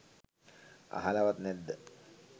අහලවත් නැද්ද